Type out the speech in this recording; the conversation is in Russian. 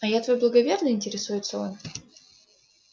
а я твой благоверный интересуется он